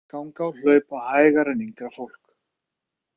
Af þessu leiðir að aldraðir ganga og hlaupa hægar en yngra fólk.